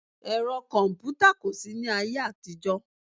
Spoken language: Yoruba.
Ẹ̀rọ kọ̀mpútà kò sí ní ayé àtijọ́